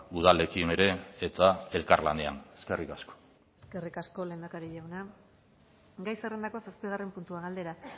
udalekin ere eta elkarlanean eskerrik asko eskerrik asko lehendakari jauna gai zerrendako zazpigarren puntua galdera